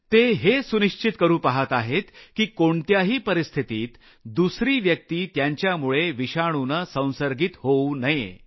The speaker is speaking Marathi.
ते हे सुनिश्तिच करू पहात आहेत की कोणत्याही परिस्थितीत दुसरी व्यक्ति त्यांच्यामुळे विषाणुनं संसर्गित होऊ नये